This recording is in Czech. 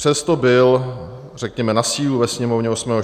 Přesto byl, řekněme, na sílu ve Sněmovně 8. 4. schválen.